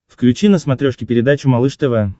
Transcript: включи на смотрешке передачу малыш тв